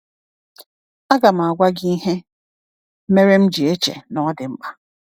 Agam agwa gị ihe mere m ji eche na ọ dị mkpa.